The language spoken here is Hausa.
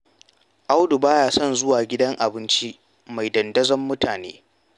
Audu ba ya son zuwa gidan abinci mai dandazon mutane.